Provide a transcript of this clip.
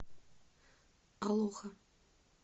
алоха